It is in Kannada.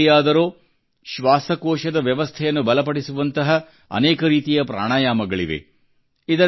ಯೋಗದಲ್ಲಿಯಾದರೋ ಶ್ವಾಸಕೋಶದ ವ್ಯವಸ್ಥೆಯನ್ನು ಬಲಪಡಿಸುವಂಥ ಅನೇಕ ರೀತಿಯ ಪ್ರಾಣಾಯಾಮಗಳಿವೆ